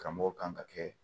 Karamɔgɔ kan ka kɛ